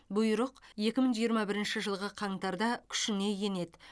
бұйрық екі мың жиырма бірінші жылғы қаңтарда күшіне енеді